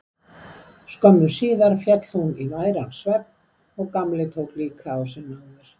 Skömmu síðar féll hún í væran svefn og Gamli tók líka á sig náðir.